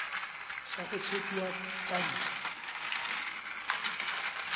sa go tshepiwa ka ntlha